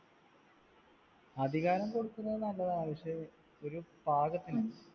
അധികാരം കൊടുക്കുന്നത് നല്ലതാ പക്ഷെ ഒരു പാകത്തിന്